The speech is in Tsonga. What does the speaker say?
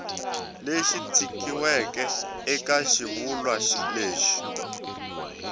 lexi tikisiweke eka xivulwa lexi